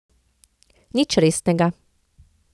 Nič resnega.